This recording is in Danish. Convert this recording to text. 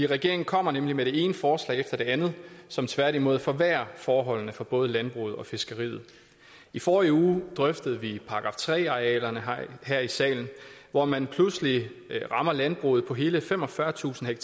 regeringen kommer nemlig med det ene forslag efter det andet som tværtimod forværrer forholdene for både landbruget og fiskeriet i forrige uge drøftede vi § tre arealerne her her i salen hvor man pludselig rammer landbruget på hele femogfyrretusind